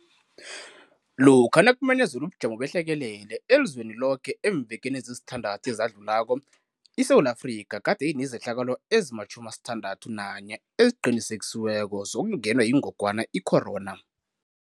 Lokha nakumenyezelwa ubujamo behlekelele elizweni loke eemvekeni ezisithandathu ezadlulako, iSewula Afrika gade inezehlakalo ezima-61 eziqinisekisiweko zokungenwa yingogwana icorona .